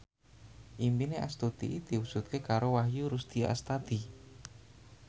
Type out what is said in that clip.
impine Astuti diwujudke karo Wahyu Rudi Astadi